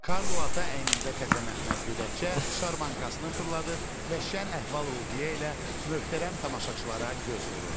Karlo Ata əynində təzə məxmər gödəkçə, şarmankasını fırladır və şən əhval-ruhiyyə ilə möhtərəm tamaşaçılara göz vururdu.